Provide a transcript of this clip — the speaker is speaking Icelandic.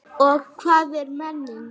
Og hvað er menning?